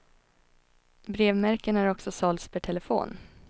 Brevmärken har också sålts per telefon.